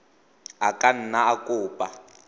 a ka nna a kopa